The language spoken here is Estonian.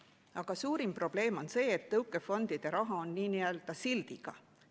Aga suurim probleem on see, et tõukefondide raha on n‑ö sildiga.